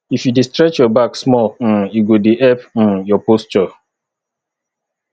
if you dey stretch your back small um e go dey help um your posture